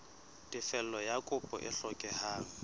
tefello ya kopo e hlokehang